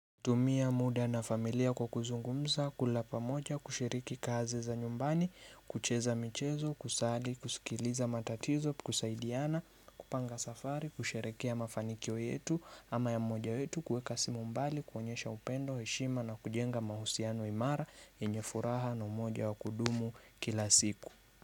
Tumia muda na familia kwa kuzungumza, kula pamoja, kushiriki kazi za nyumbani, kucheza michezo, kusali, kusikiliza matatizo, kusaidiana, kupanga safari, kusherehekea mafanikio yetu, ama ya mmoja yetu, kuweka simu mbali, kuonyesha upendo, heshima na kujenga mahusiano imara, yenye furaha na umoja wa kudumu kila siku.